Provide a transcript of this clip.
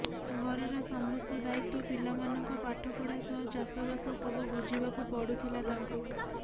ଘରର ସମସ୍ତ ଦାୟିତ୍ୱ ପିଲାମାନଙ୍କ ପାଠପଢା ସହ ଚାଷବାସ ସବୁ ବୁଝିବାକୁ ପଡୁଥିଲ ତାଙ୍କୁ